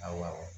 Awɔ